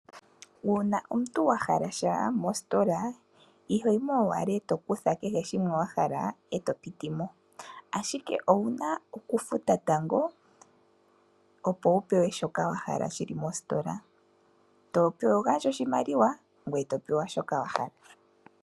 Uuna omuntu wa hala sha mositola, ihoyimo owala eto kutha kehe shimwe wa hala eto piti mo, ashike owu na okufuta tango, opo wu pewe shoka wa hala shili mositola. Togandja oshimaliwa, eto pewa shi wa hala.